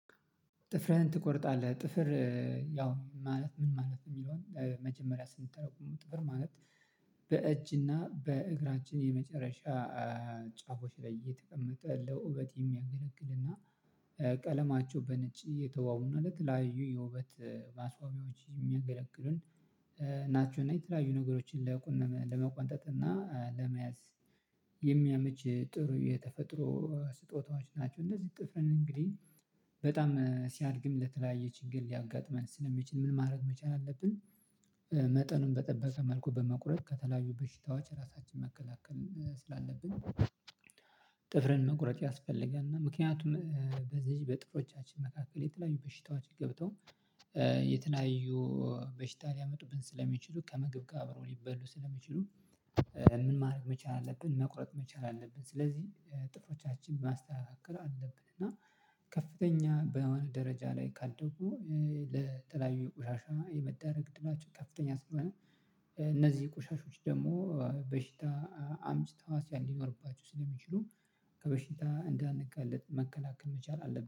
ጥፍርህን ትቆርጣለህ ጥፍር ያው ማለት ምን ማለት ነው? የሚለውን መጀመሪያ ስንተረጉመው ጥፍር ማለት በእጅና በእግራችን የመጨረሻ ጫፎች ላይ እየተቀመጠ ለውበት የሚያገለግልና ቀለማቸው በነጭ የተዋውን አለት ላዩ የውበት ማስዋቤዎች ናቸው። እና የተለያዩ ነገሮችን ለቁንም ለመቆጣጠጥ እና ለመያዝ ጥሩ የተፈጥሮ ስጦታዎች ናቸው። እንደዚህ ጥፍርን እንግዲህ በጣም ሲያድግም ለተለያየ ችግር ሊያጋጥመን ስለሚችል ምን ማድረግ መቻል አለብን? መጠኑን በጠበቀ መልኩ በመቁረጥ ከተለያዩ በሽታዎች ራሳችን መከላከል ስላለብን። ጥፍርን መቁረጥ ያስፈልጋል። እና ምክንያቱም በዚህ በጥፎሮቻችን መካከል የተለያዩ በሽታዎች ገብተው የተለያዩ በሽታ ሊያመጡብን ስለሚችሉ ከምግብ ጋር ሊበሉ ስለሚችሉ። ምን ማድረግ መቻል አለብን መቁረጥ መቻል አለብን። ስለዚህ ጥፎሮቻችን ማስተካከል አለብን። እና ከፍተኛ በሆነ ደረጃ ላይ ካደጉ ለጥላዊ ቆሻሻ የመዳረግ ድላቸው ከፍተኛ ስለሆነ። እነዚህ ቆሻሻዎች ደግሞ በሽታ አምጭ ታዋስያ እንዲኖርባችሁ ስለሚችሉ ከበሽታ እንዳንጋለጥ መከላከል መቻል አለብን